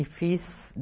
E fiz.